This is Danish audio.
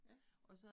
Ja